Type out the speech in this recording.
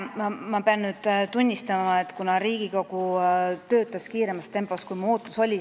Ma pean tunnistama, et Riigikogu töötas kiiremas tempos, kui mu ootus oli.